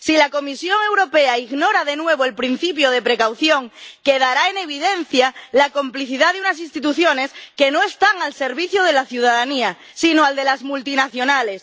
Si la Comisión Europea ignora de nuevo el principio de precaución, quedará en evidencia la complicidad de unas instituciones que no están al servicio de la ciudadanía, sino al de las multinacionales.